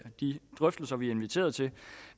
de drøftelser vi er inviteret til